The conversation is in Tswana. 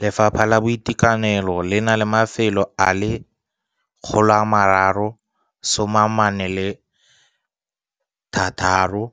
Lefapha la Boitekanelo le na le mafelo a le 346